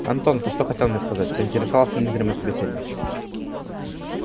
антон ты что хотел мне сказать поинтересовался незримый собеседник